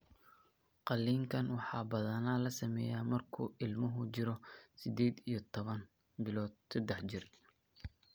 Qaliinkan waxaa badanaa la sameeyaa markuu ilmuhu jiro sided iyo toban bilood sedex jir.